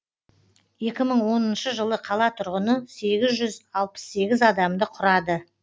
екі мың оныншы жылы қала тұрғыны сегіз жүз алпыс сегіз адамды құрады